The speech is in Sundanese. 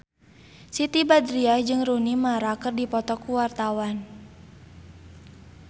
Siti Badriah jeung Rooney Mara keur dipoto ku wartawan